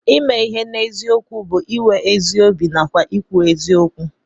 Ime ihe n'eziokwu bụ iwe ezi obi nàkwà ikwu eziokwu